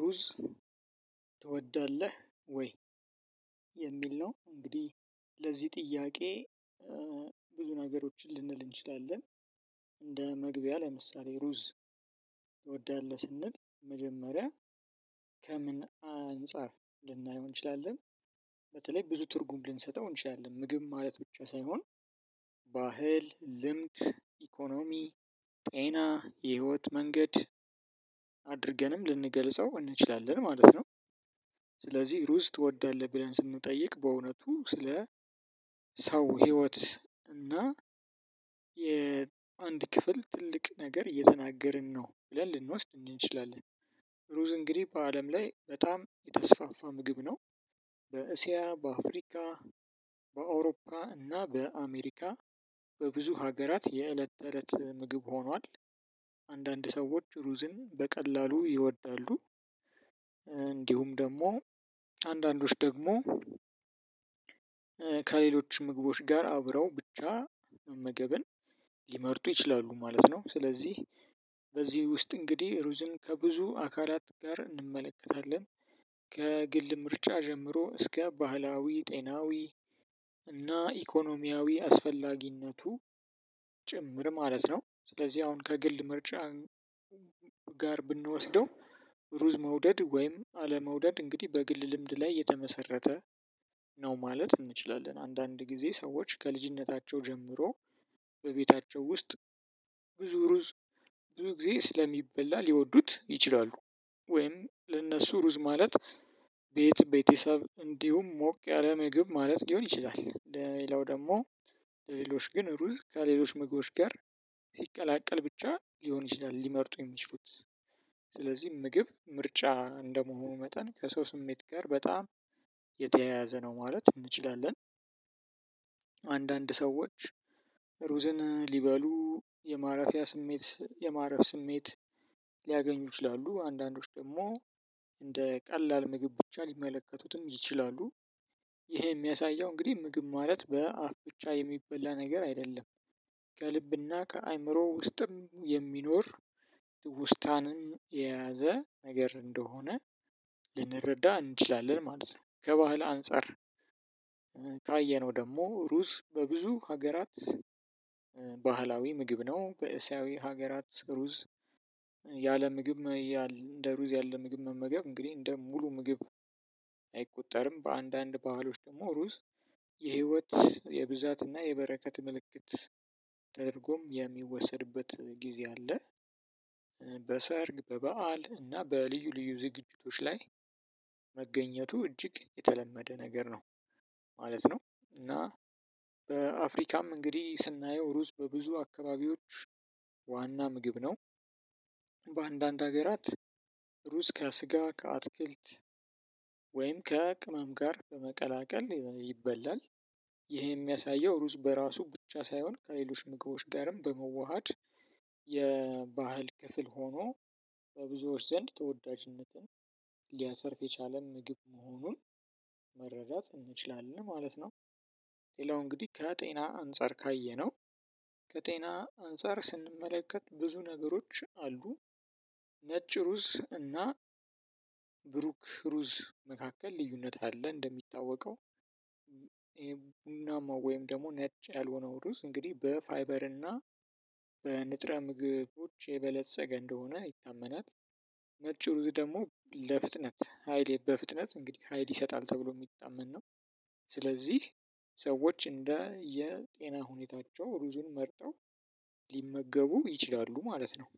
ሩዝ ትወዳለህ ወይ? የሚል ነው እንግዲህ ለዚህ ጥያቄ ብዙ ነገሮችን ልንል እንችላለን። እንደ መግቢያ ለምሳሌ ሩዝ ትወዳለህ ስንል መጀመሪያ ከምን አንፃር ልናየው እንችላለን በተለይ ብዙ ትርጉም ልንሰጠው እንችላለን ምግብ ማለት ብቻ ሳይሆን ባህል ልምድ ኢኮኖሚ ጤና የህይወት መንገድ አድርገንም ልንገልጸው እንችላለን ማለት ነው። ስለዚህ ሩዝ ትወዳለህ ብለን ስንጠይቅ በእውነቱ ስለ ሰው ህይወት እና የአንድ ክፍል ትልቅ ነገር እየተናገርን ነው ብለን ልንወስድ እንችላለን። ሩዝ እንግዲህ በአለም ላይ በጣም የተስፋፋ ምግብ ነው። በእስያ በአፍሪካ በአውሮፓ እና በአሜሪካ በብዙ ሀገራት የእለት እለት ምግብ ሆኗል። አንዳንድ ሰዎች ሩዝን በቀላሉ ይወዳሉ። እንዲሁም ደግሞ አንዳንዶች ደግሞ ከሌሎች ምግቦች ጋር አብረው ብቻ መመገብን ሊመርጡ ይችላሉ ማለት ነው። ስለዚህ በዚህ ውስጥ እንግዲህ ሩዝን ከብዙ አካላት ጋር እንመለከታለን። ከግል ምርጫ ጀምሮ እስከ ባህላዊ ጤናዊ እና ኢኮኖሚያዊ አስፈላጊነቱ ጭምር ማለት ነው። ስለዚህ አሁን ከግል ምርጫ ጋር ብንወስደው ሩዝ መውደድ ወይም አለመውደድ እንግዲህ በግል ልምድ ላይ የተመሰረተ ነው ማለት እንችላለን። አንዳንድ ጊዜ ሰዎች ከልጅነታቸው ጀምሮ በቤታቸው ውስጥ ብዙ ሩዝ ብዙ ጊዜ ስለሚበላ ሊወዱት ይችላሉ። ወይም ለእነሱ ሩዝ ማለት ቤት ቤተሰብ እንዲሁም ሞቅ ያለ ምግብ ማለት ሊሆን ይችላል። ሌላው ደግሞ ሌሎች ግን ሩዝ ከሌሎች ምግቦች ጋር ሲቀላቀል ብቻ ሊሆን ይችላል ሊመርጡ የሚችሉት። ስለዚህ ምግብ ምርጫ እንደመሆኑ መጠን ከሰው ስሜት ጋር በጣም የተያያዘ ነው ማለት እንችላለን። አንዳንድ ሰዎች ሩዝን ሊበሉ የማረፊያ ስሜት የማረፍ ስሜት ሊያገኙ ይችላሉ አንዳንዶች ደግሞ እንደ ቀላል ምግብ ብቻ ሊመለከቱትም ይችላሉ። ይሄ የሚያሳየው እንግዲህ ምግብ ማለት በአፍ ብቻ የሚበላ ነገር አይደለም። ከልብና ከአእምሮ ውስጥም የሚኖር ትውስታንም የያዘ ነገር እንደሆነ ልንረዳ እንችላለን ማለት ነው። ከባህል አንፃር ካየነው ደግሞ ሩዝ በብዙ ሀገራት ባህላዊ ምግብ ነው በእስያዊ ሀገራት ሩዝ ያለ ምግብ እንደ ሩዝ ያለ ምግብ መመገብ እንግዲህ እንደ ሙሉ ምግብ አይቆጠርም። በአንዳንድ ባህሎች ደግሞ ሩዝ የህይወት የብዛትና የበረከት ምልክት ተደርጎም የሚወሰድበት ጊዜ አለ። በሰርግ በበዓል እና በልዩ ልዩ ዝግጅቶች ላይ መገኘቱ እጅግ የተለመደ ነገር ነው። ማለት ነው እና በአፍሪካም እንግዲህ ስናየው ሩዝ በብዙ አካባቢዎች ዋና ምግብ ነው። በአንዳንድ ሀገራት ሩዝ ከስጋ ከአትክልት ወይም ከቅመም ጋር በመቀላቀል ይበላል። ይሄ የሚያሳየው ሩዝ በራሱ ብቻ ሳይሆን ከሌሎች ምግቦች ጋርም በመዋሃድ የባህል ክፍል ሆኖ በብዙዎች ዘንድ ተወዳጅነትን ሊያተርፍ የቻለ ምግብ መሆኑን መረዳት እንችላለን ማለት ነው። ሌላው እንግዲህ ከጤና አንፃር ካየነው ከጤና አንፃር ስንመለከት ብዙ ነገሮች አሉ። ነጭ ሩዝ እና ብሩክ ሩዝ መካከል ልዩነት አለ። እንደሚታወቀው ይሄ ቡናማ ወይም ደግሞ ነጭ ያልሆነው ሩዝ እንግዲህ በፋይበር እና በንጥረ ምግቦች የበለፀገ እንደሆነ ይታመናል። ነጭ ሩዝ ደግሞ ለፍጥነት ሃይሌ በፍጥነት እንግዲህ ሀይል ይሰጣል ተብሎ የሚታመን ነው። ስለዚህ ሰዎች እንደ የጤና ሁኔታቸው ሩዙን መርጠው ሊመገቡ ይችላሉ ማለት ነው።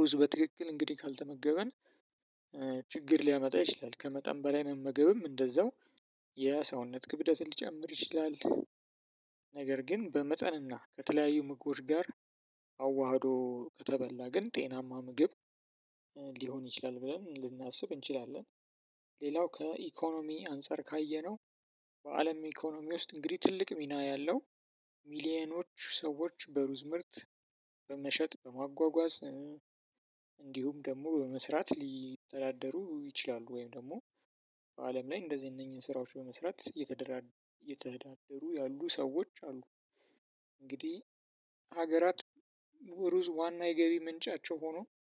ሩዝ በትክክል እንግዲህ ካልተመገበን ችግር ሊያመጣ ይችላል ከመጠን በላይ መመገብም እንደዛው የሰውነት ክብደትን ሊጨምር ይችላል። ነገር ግን በመጠንና ከተለያዩ ምግቦች ጋር አዋህዶ ከተበላ ግን ጤናማ ምግብ ሊሆን ይችላል ብለን ልናስብ እንችላለን። ሌላው ከኢኮኖሚ አንፃር ካየነው በአለም ኢኮኖሚ ውስጥ እንግዲ ትልቅ ሚና ያለው ሚሊየኖች ሰዎች በሩዝ ምርት በመሸጥ በማጓጓዝ እንዲሁም ደግሞ በመስራት ሊተዳደሩ ይችላሉ ወይም ደግሞ በአለም ላይ እንደዚህ እነኚህን ስራዎች በመስራት እየተዳደሩ ያሉ ሰዎች አሉ። እንግዲህ ሀገራት ሩዝ ዋና የገቢ ምንጫቸው ሆኖ